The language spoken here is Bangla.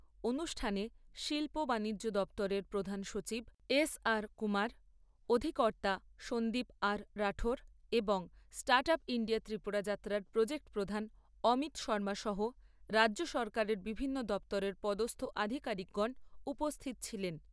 অনুষ্ঠানে শিল্প বাণিজ্য দপ্তরের প্রধান সচিব এসআর কুমার, অধিকর্তা সন্দীপ আর রাঠোর, এবং স্টার্ট আপ ইণ্ডিয়া ত্রিপুরা যাত্রার প্রজেক্ট প্রধান অমিত শৰ্মা সহ রাজ্য সরকারের বিভিন্ন দপ্তরের পদস্থ আধিকারিকগণ উপস্থিত ছিলেন।